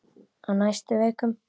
Á næstu vikum.